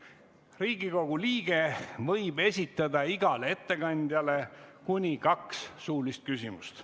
Riigikogu liige võib esitada igale ettekandjale kuni kaks suulist küsimust.